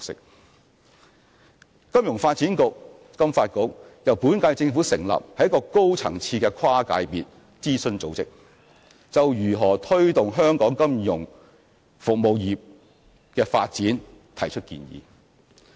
香港金融發展局由本屆政府成立，是一個高層次的跨界別諮詢組織，就如何推動香港金融服務業的發展提出建議。